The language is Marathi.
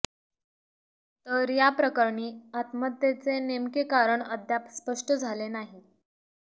तर या प्रकरणी आत्महत्येचे नेमके कारण अद्याप स्पष्ट झाले नाही